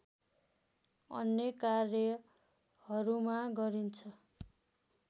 अन्य कार्यहरूमा गरिन्छ